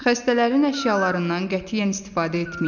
Xəstələrin əşyalarından qətiyyən istifadə etməyin.